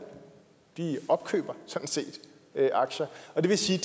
de opkøber sådan set aktier og det vil sige